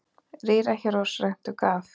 Rýra hér oss rentu gaf.